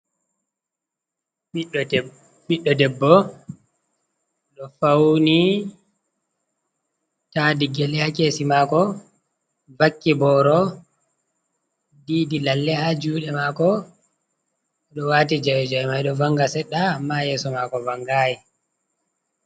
Ɓiɗɗo debbo ɗo fauni, tadi gyale ha kesi mako, vakki boro, didi lalle ha juɗe mako, ɗo wati jawei, jawei mai ɗo vanga seɗɗa amma yeso mako vangai.